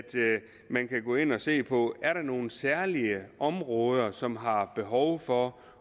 man kan gå ind og se på er nogle særlige områder som har behov for